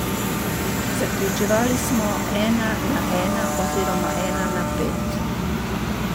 Zaključevali smo ena na ena, oziroma ena na pet.